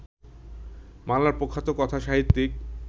বাংলার প্রখ্যাত কথাসাহিত্যিক